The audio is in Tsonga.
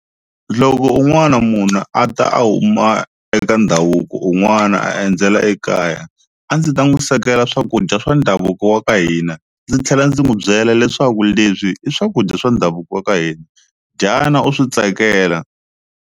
Loko un'wana munhu a ta a huma eka ndhavuko un'wana a endzela ekaya a ndzi ta n'wi swekela swakudya swa ndhavuko wa ka hina ndzi tlhela ndzi n'wi byela leswaku leswi i swakudya swa ndhavuko wa ka hina dyana u swi tsakela.